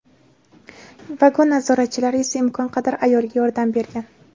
Vagon nazoratchilari esa imkon qadar ayolga yordam bergan.